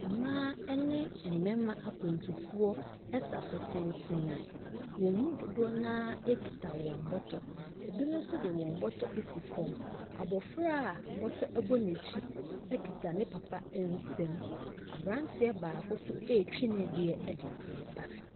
Mmaa ne mmarima akwantufoɔ sa so tenten. Wɔn mu dodoɔ no ara kita wɔn bɔtɔ. Ebinom nso de wɔn bɔtɔ asi fam. Abofra a bɔtɔ ɛbɔ n'akyi kita ne papa nsam. Abranteɛ baako kura ne deɛ.